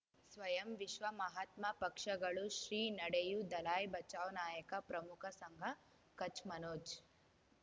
ಸ್ವಯಂ ವಿಶ್ವ ಮಹಾತ್ಮ ಪಕ್ಷಗಳು ಶ್ರೀ ನಡೆಯೂ ದಲೈ ಬಚೌ ನಾಯಕ ಪ್ರಮುಖ ಸಂಘ ಕಚ್ ಮನೋಜ್